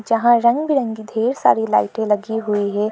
यहां रंग बिरंगी ढेर सारी लाइटें लगी हुई है।